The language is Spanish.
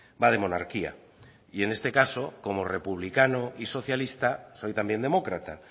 va de monarquía y en este caso como republicano y socialista soy también demócrata